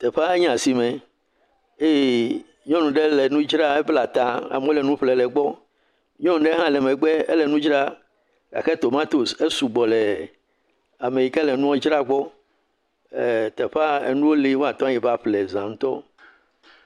Teƒea nye asime eye nyɔnu ɖe nu dzra, ebla ta, amewo le nu ƒlem le egbɔ, nyɔnu ɖe hã le megbe, ele nu dzra gake tomatos esugbɔ le ame yike le nua dzra gbɔ, teƒea, enuwo le woate yi va ƒle za ŋutɔ.